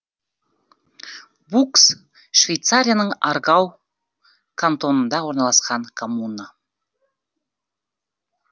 букс швейцарияның аргау кантонында орналасқан коммуна